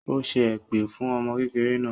Ó ṣẹ́ èpè fún ọmọ kékeré náà